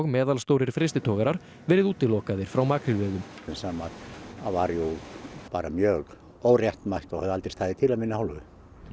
meðalstórir frystitogarar verið útilokaðir frá makrílveiðum sem var jú mjög óréttmætt og hefði aldrei staðið til af minni hálfu